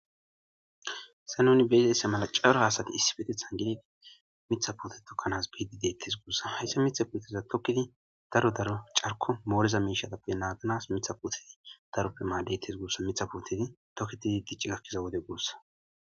Se nuni beedese mala caro haasati issi petethan gilegi mitha poote tokkanas biidi deettes guussa hayssa mitha puoteza tokkidi daro daro carko mooleza miishatappe naadanas mitha putedi daroppe maadetes gussa mitha pootedi toketidi gi cigakkiza wode guossa